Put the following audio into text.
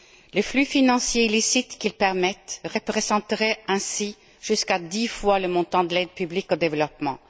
Les flux financiers illicites qu'ils permettent représenteraient ainsi jusqu'à dix fois le montant de l'aide publique au développement.